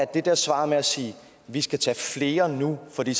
det der svar med at sige at vi skal tage flere nu fordi